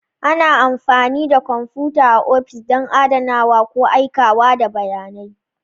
Ana amfani da kwamfuta a ofis don adanawa ko aikawa da bayanai.